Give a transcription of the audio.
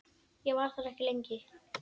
Ég var þar ekki lengi.